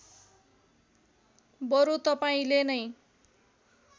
बरु तपाईँले नै